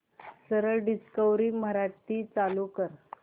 सरळ डिस्कवरी मराठी चालू कर